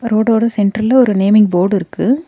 ரோடோட சென்டர்ல ஒரு naming board இருக்கு.